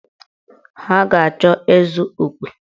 Ha ga-achọ ịzụ okwe.